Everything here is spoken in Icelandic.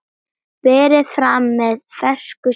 Berið fram með fersku salati.